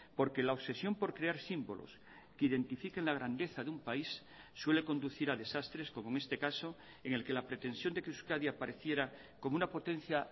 porque la obsesión por crear símbolos que identifiquen la grandeza de un país suele conducir a desastres como en este caso en el que la pretensión de que euskadi apareciera como una potencia